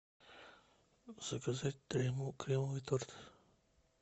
заказать кремовый торт